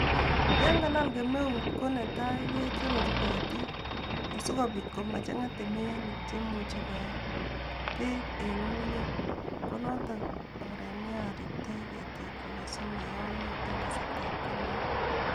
Yon kalal kemeut ko netai ke chororu ketiik asikopiit komachang'a temenik chemuche koee peek en ng'ung'unyek ko noton oret neoriptoi ketikyuk asimoyomio en kasartap kemeut